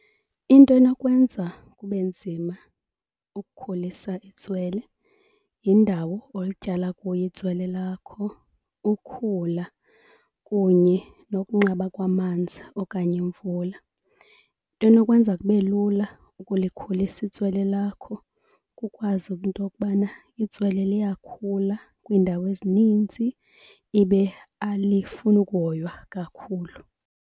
Into enokwenza kube nzima ukukhulisa itswele yindawo olityala kuyo itswele lakho, ukhula kunye nokunqaba kwamanzi okanye imvula. Enokwenza kube lula ukulikhulisa itswele lakho kukwazi into yokubana itswele liyakhula kwiindawo ezininzi, ibe alifuni ukuhoywa kakhulu.